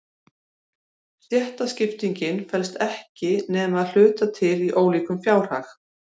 Stéttaskiptingin felst ekki nema að hluta til í ólíkum fjárhag.